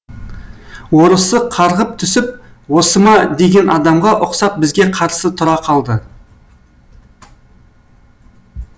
орысы қарғып түсіп осы ма деген адамға ұқсап бізге қарсы тұра қалды